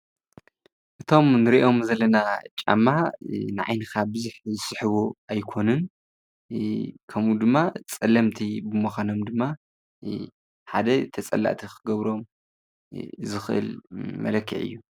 እቶም እንሪኦም ዘለና ጫማ ንዓይንካ ብዙሕ ዝስሕቡ ኣይኮኑን፣ ከምኡ ድማ ፀለምቲ ብምኳኖም ድማ ሓደ ተፀላእቲ ክገብሮም ዝክእል መለክዒ እዩ፡፡